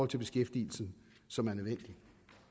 til beskæftigelsen som er nødvendig